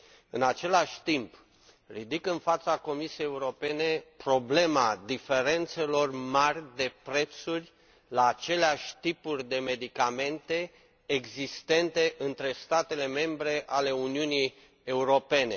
În același timp, ridic în fața Comisiei Europene problema diferențelor mari de prețuri la aceleași tipuri de medicamente între statele membre ale Uniunii Europene.